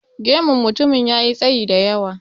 Gemun mutumin ya yi tsayi da yawa.